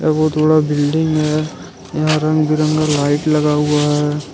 बहुत बड़ा बिल्डिंग है यहां रंग बिरंगा लाइट लगा हुआ है।